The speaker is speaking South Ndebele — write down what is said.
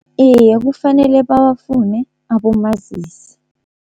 Iye kufanele bawafune abomazisi.